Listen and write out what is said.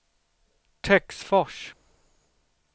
Töcksfors